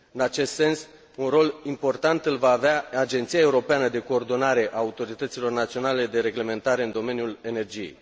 În acest sens, un rol important îl va avea Agenția europeană de coordonare a autorităților naționale de reglementare în domeniul energiei.